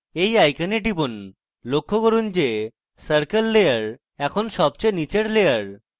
এই icon টিপুন লক্ষ্য করুন যে circle layer এখন সবচেয়ে নীচের layer